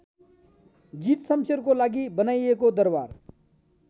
जीतशमशेरको लागि बनाइएको दरबार